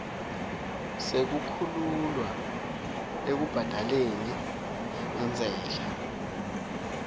sekukhululwa ekubhadaleni intsela